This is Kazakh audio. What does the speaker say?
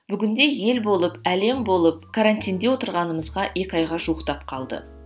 бүгінде ел болып әлем болып карантинде отырғанымызға екі айға жуықтап қалды